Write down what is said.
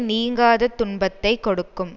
நீங்காதத் துன்பத்தை கொடுக்கும்